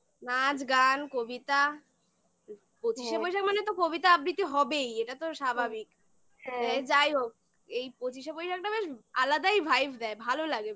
নাচ, গান, কবিতা পঁচিশে হ্যাঁ বৈশাখ মানে তো কবিতা আবৃত্তি হবেই এটা তো স্বাভাবিক হ্যাঁ যাই হোক এই পঁচিশে বৈশাখটা বেশ আলাদাই vibe দেয় ভালো লাগে বেশ